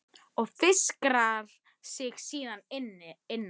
Og fikrar sig síðan innar?